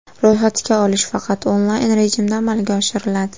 Ro‘yxatga olish faqat onlayn rejimda amalga oshiriladi.